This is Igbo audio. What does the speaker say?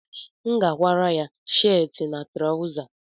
M ga-akwara ya sheetị na traụza